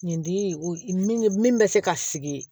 Nin di min bɛ se ka sigi